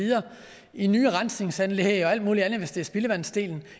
i nye rensningsanlæg og alt muligt andet hvis det er spildevandsdelen